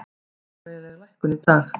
Smávægileg lækkun í dag